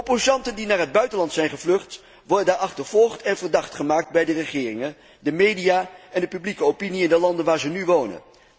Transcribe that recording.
Opposanten die naar het buitenland zijn gevlucht, worden achtervolgd en verdacht gemaakt bij de regeringen, de media en de publieke opinie in de landen waar ze nu wonen.